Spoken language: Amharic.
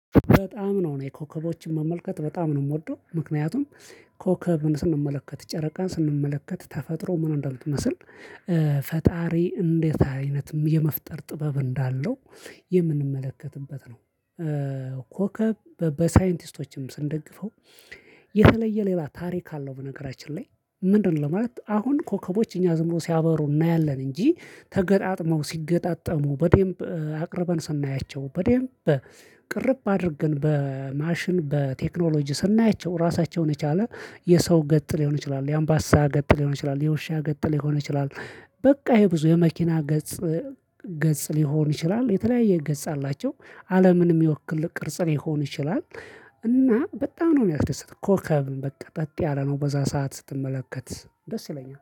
በጣም ነው የኮከቦችን መመልከት በጣም ነው የምወደው ምክንያቱም ኮከብን ስንመለከት ጨረቃን ስንመለከት ተፈጥሮ ምን እንደምትመስል ፈጣሪ እንዴት አይነት የመፍጠር ጥበብ እንዳለው የምንመለከትበት ነው። ኮከብ በ በሳይንቲስቶችም ስንደግፈው የተለየ ሌላ ታሪክ አለው። በነገራችን ላይ ምንድነው? ለማለት አሁን ኮከቦች እኛ ዝም ብሎ ሲያበሩ እናያለን። እንጂ ተገጣጥመው ሲገጣጠሙ በዴንብ አቅርበን ሰናያቸው በዴንብ ቅርብ አድርገን በ ማሽን በቴክኖሎጂ ስናያቸው ራሳቸውን የቻለ የሰው ገጥ ሊሆን ይችላል የአምባሳ ገጥ ሊሆኑ ይችላሉ የውሻ ገጥ ሊሆን ይችላል። በቃ ይሄ ብዙ የመኪና ገጽ ገጽ ሊሆን ይችላል። የተለያየ ገጽ አላቸው አለምንም የወክል ቅርጽ ሊሆን ይችላል። እና በጣም ነው የሚያስደስት ኮከብ በቃ ጸጥ ያለ ነው በዛ ሰዓት ስትመለከት ደስ ይለኛል